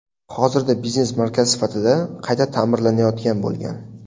Hozirda biznes markaz sifatida qayta ta’mirlanayotgan bo‘lgan.